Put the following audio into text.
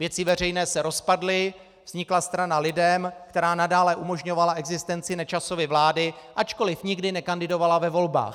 Věci veřejné se rozpadly, vznikla strana LIDEM, která nadále umožňovala existenci Nečasovy vlády, ačkoliv nikdy nekandidovala ve volbách.